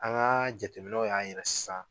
An ka jateminɛw y'a yira sisan.